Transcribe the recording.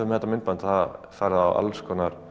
með þetta myndband það farið á